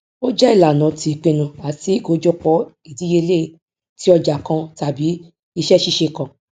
ó jẹ ìlànà ti ìpinnu àti ìkójọpọ ìdíyelé ti ọjà kan tàbí iṣẹ ṣíṣe kan